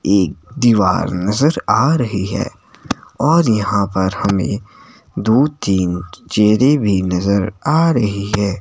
एक दीवार नजर आ रही है और यहाँ पर हमें दो तीन चेहरे भीं नजर आ रही है।